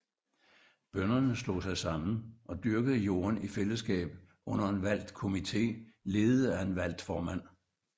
Bønderne slog sig sammen og dyrkede jorden i fællesskab under en valgt komité ledet af en valgt formand